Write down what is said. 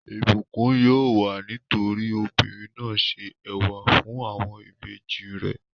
Ìbùkún yóò wà nítorí obìnrin náà se ẹ̀wà fún àwọn ìbejì rẹ̀.